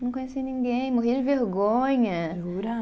Não conhecia ninguém, morria de vergonha. Jura?